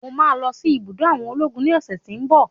Mo máa lọsí ibùdó àwọn ológun ní ọ̀sẹ̀ tí ń bọ̀.